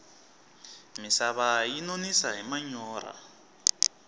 misava yi nonisa hi manyorha